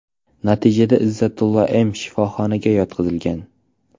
Natijada Izzatilo M. shifoxonaga yotqizilgan.